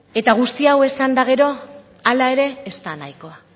eta guzti hau esan eta gero hala ere ez da nahikoa